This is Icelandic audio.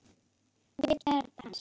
við gerð hans.